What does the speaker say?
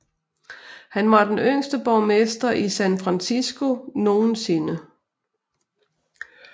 Han var den yngste borgmester i San Francisco nogensinde